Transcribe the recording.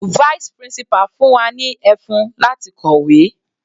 Vice principal fún wa ní ẹfun láti kọ̀wé.